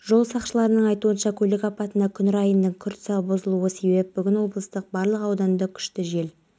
жиын барысында министр алдағы жоспарлармен де бөлісті бақыт сұлтанов қаржы министрі абылайдың айтуынша оны иран кемесіндегі